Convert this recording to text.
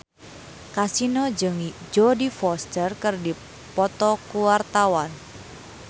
Kasino jeung Jodie Foster keur dipoto ku wartawan